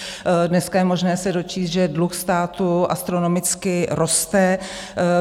Dneska je možné se dočíst, že dluh státu astronomicky roste.